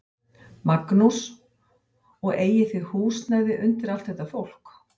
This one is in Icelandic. Magnús: Og eigið þið húsnæði undir allt þetta fólk?